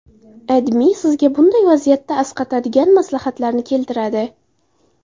AdMe sizga bunday vaziyatda asqatadigan maslahatlarni keltiradi .